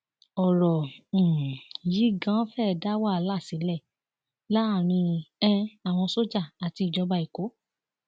ọrọ um yìí ganan fẹẹ dá wàhálà sílẹ láàrin um àwọn sójà àti ìjọba èkó